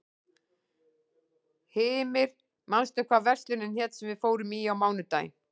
Hymir, manstu hvað verslunin hét sem við fórum í á mánudaginn?